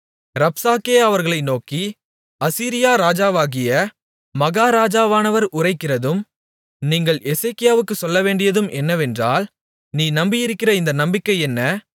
ரப்சாக்கே அவர்களை நோக்கி அசீரியா ராஜாவாகிய மகாராஜாவானவர் உரைக்கிறதும் நீங்கள் எசேக்கியாவுக்குச் சொல்லவேண்டியதும் என்னவென்றால் நீ நம்பியிருக்கிற இந்த நம்பிக்கை என்ன